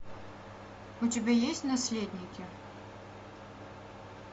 у тебя есть наследники